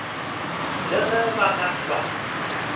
le ge ba ka hlwa